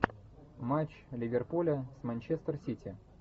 матч ливерпуля с манчестер сити